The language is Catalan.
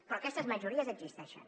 però aquestes majories existeixen